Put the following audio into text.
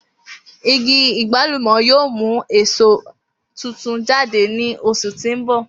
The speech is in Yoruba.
Igi agbalumo yoo mu awọn eso tuntun jade ni oṣu ti n bọ.